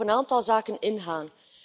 Ik wil op een aantal zaken ingaan.